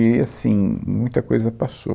E assim, muita coisa passou.